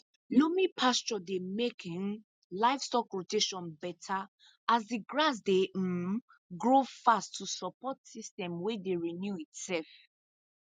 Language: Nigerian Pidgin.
loamy pasture dey make um livestock rotation better as the grass dey um grow fast to support system wey dey renew itself